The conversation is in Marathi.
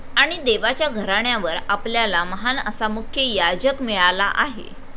आणि देवाच्या घराण्यावर आपल्याला महान असा मुख्य याजक मिळाला आहे.